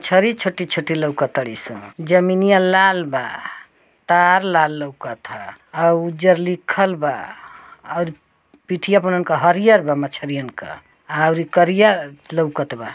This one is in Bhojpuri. छरी छोटी छोटी लउकतारी सनजमीनिया लाल बा तार लाल लउकत आ और उज्जर लिखल बा और पिठिया पे ओन्हन का हरियर बा मछरियन क और करिया लउकत बा।